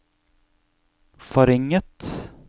forringet